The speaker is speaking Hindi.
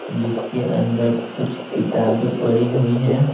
जिसके अंदर कुछ किताबें पड़ी हुई हैं।